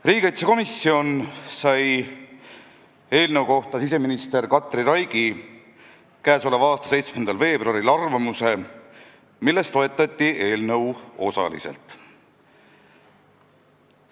Riigikaitsekomisjon sai k.a 7. veebruaril eelnõu kohta siseminister Katri Raigi arvamuse, milles toetati eelnõu osaliselt.